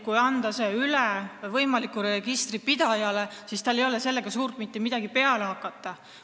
Kui anda see üle võimalikule registripidajale, siis tal ei ole sellega suurt midagi peale hakata.